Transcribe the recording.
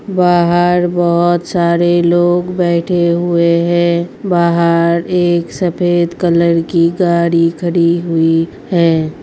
बाहर बोहोत सारे लोग बैठे हुए हैं। बाहर एक सफेद कलर की गाड़ी खड़ी हुई है।